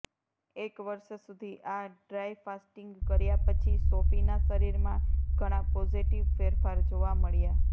એક વર્ષ સુધી આ ડ્રાઈ ફાસ્ટીંગ કર્યા પછી સોફીના શરીરમાં ઘણા પોઝેટીવ ફેરફાર જોવા મળ્યા